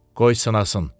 Qoy sınasın.